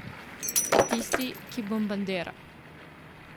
Tisti, ki bombardira.